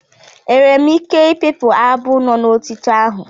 Enwere m ike i pipụ abụ no n'otito ahụ.